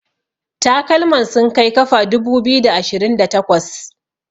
takalman sun Kai kafa dubu biyu da ashirinda takwas